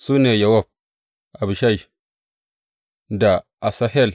Su ne, Yowab, Abishai da Asahel.